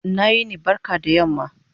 Ina yini/ barka da yamma